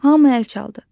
Hamı əl çaldı.